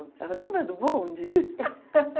lembra do bonde?